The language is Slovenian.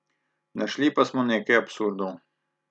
Našli pa smo nekaj absurdov.